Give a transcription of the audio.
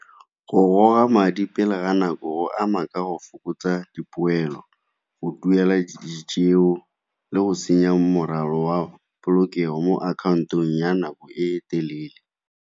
Go goga madi pele ga nako go ama ka go fokotsa dipoelo, go duela eo le go senya morwalo wa polokego mo akhaontong ya nako e telele.